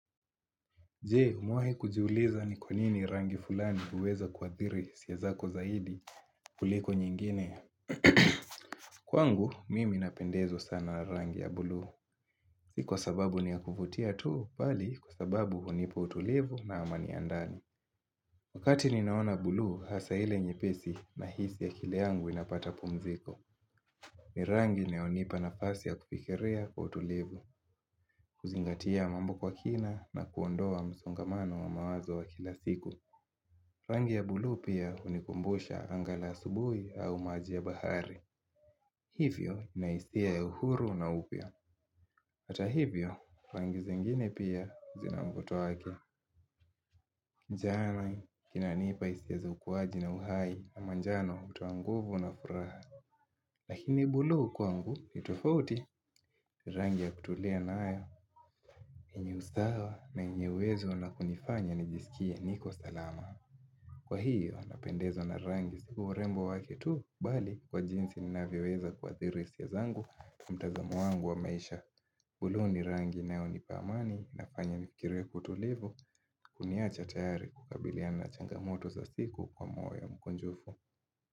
Jee, umewahi kujiuliza ni kwa nini rangi fulani huweza kuadhiri hisia zako zaidi kuliko nyingine. Kwangu, mimi napendezwo sana rangi ya bulu. Iko sababu ni ya kuvutia tu, bali kwa sababu hunipa utulivu na amani ndani. Wakati ninaona bulu, hasa ile nyepesi na hisi akili yangu inapata pumziko. Ni rangi inayonipa nafasi ya kufikilia kwa utulivu. Kuzingatia mambo kwa kina na kuondoa msongamano wa mawazo wa kila siku. Rangi ya bulu pia hunikumbusha anga la asubui au maji ya bahari Hivyo na hisia ya uhuru na upya hata hivyo, rangi zengine pia zinamvuto wake Njani, kinanipa hisia zukuwaji na uhai ama njano hutoa nguvu na furaha Lakini bulu kwangu, ni tofauti, rangi ya kutulia nayo kwenye usawa na yenye uwezo na kunifanya nijisikie niko salama Kwa hiyo, napendezwa na rangi si urembo wake tu bali kwa jinsi ninavyoweza kwa athiri hisia zangu, na mtazamo wangu wa maisha. Uluo ni rangi inayonipa amani na kufanya nifikirie kwa utulivu, kuniacha tayari kukabiliana na changamoto za siku kwa mwoyo mkunjufu.